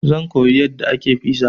Zan koyi yadda ake fiza.